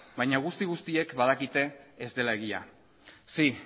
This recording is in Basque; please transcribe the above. baina guzti guztiek badakite ez dela egia sí